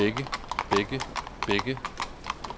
begge begge begge